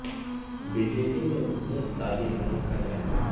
B J پی میں رکنیت سازی مہم کا جائزہ